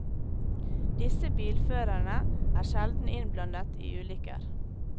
Disse bilførerne er sjelden innblandet i ulykker.